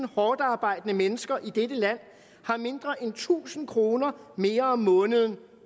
hårdtarbejdende mennesker i dette land har mindre end tusind kroner mere om måneden